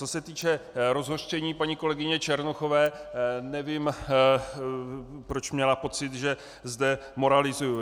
Co se týče rozhořčení paní kolegyně Černochové, nevím, proč měla pocit, že zde moralizuji.